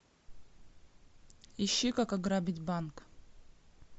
ищи как ограбить банк